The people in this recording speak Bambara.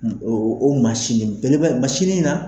O o o mansin bele masinin in na.